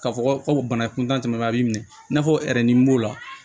Ka fɔ ko bana in kun tɛmɛna a b'i minɛ i n'a fɔ b'o la